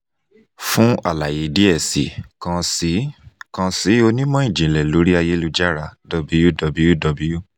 fun alaye diẹ sii kan si kan si onimọ-jinlẹ lori ayelujara www